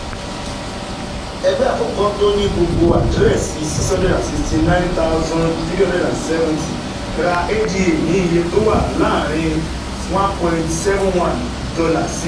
Ẹgbẹ́ àkọ́kọ́, tó ní gbogbo àdírẹ́sì six hundred sixty nine thousand three hundred seventy, ra ADA ní iye tó wà láàárín $ one point seven one sí